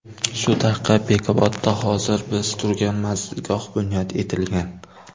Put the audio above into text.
Shu tariqa Bekobodda hozir biz turgan manzilgoh bunyod etilgan.